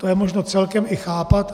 To je možno celkem i chápat.